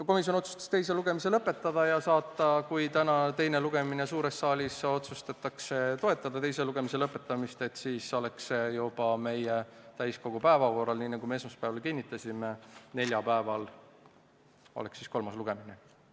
Komisjon otsustas teise lugemise lõpetada ja kui täna suures saalis otsustatakse toetada teise lugemise lõpetamist, siis oleks see juba meie täiskogu päevakorras, nii nagu me esmaspäeval kinnitasime, neljapäeval, st siis oleks kolmas lugemine.